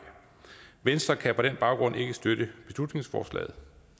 venstre kan på den baggrund ikke støtte beslutningsforslaget